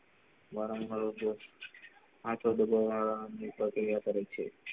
મારા મારો જોબ આટલો બાધો આહ પ્રક્રિયા કરે છે